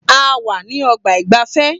A wà ní ọgbà ìgbafẹ́.